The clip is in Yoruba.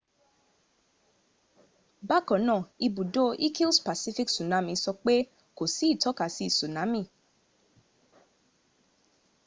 bákanáà ibùdó ìkìls pacific tsunami sọ pé kò sí ìtọ́kasí tsunami